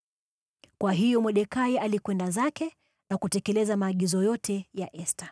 Kwa hiyo Mordekai alikwenda zake na kutekeleza maagizo yote ya Esta.